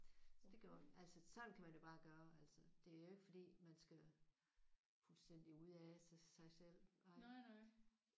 Så det gjorde vi. Altså sådan kan man jo bare gøre altså. Det er jo ikke fordi man skal fuldstændig ude af sig selv